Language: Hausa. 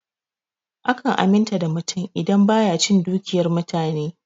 Akan aminta da mutum ne idan baya cin dukiyar mutane.